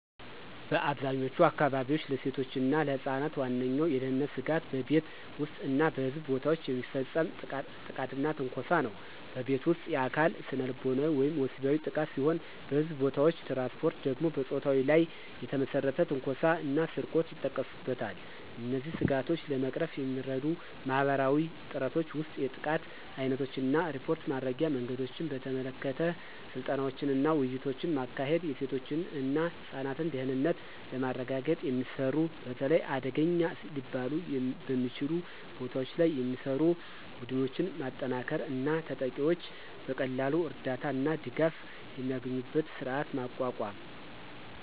በአብዛኛዎቹ አካባቢዎች፣ ለሴቶች እና ለህፃናት ዋነኛው የደህንነት ስጋት በቤት ውስጥ እና በሕዝብ ቦታዎች የሚፈጸም ጥቃትና ትንኮሳ ነው። በቤት ውስጥ: የአካል፣ ስነልቦናዊ ወይም ወሲባዊ ጥቃት ሲሆን በሕዝብ ቦታዎች/ትራንስፖርት ደግሞ በፆታ ላይ የተመሰረተ ትንኮሳ እና ስርቆት ይጠቀሱበታል። እነዚህን ስጋቶች ለመቅረፍ የሚረዱ ማህበረሰባዊ ጥረቶች ውስጥ የጥቃት ዓይነቶችን እና ሪፖርት ማድረጊያ መንገዶችን በተመለከተ ስልጠናዎችንና ውይይቶችን ማካሄድ፤ የሴቶች እና ህፃናት ደህንነትን ለማረጋገጥ የሚሰሩ፣ በተለይ አደገኛ ሊባሉ በሚችሉ ቦታዎች ላይ የሚሰሩ፣ ቡድኖችን ማጠናከር እና ተጠቂዎች በቀላሉ እርዳታ እና ድጋፍ የሚያገኙበትን ስርዓት ማቋቋም።